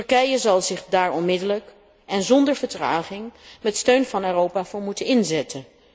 Turkije zal zich daar onmiddellijk en zonder vertraging, met steun van Europa, voor moeten inzetten.